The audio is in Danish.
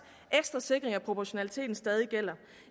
ekstra sikring af proportionaliteten stadig gælder